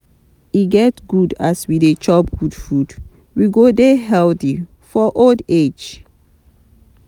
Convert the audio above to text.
E good as we dey chop good food, we go dey healthy for old age.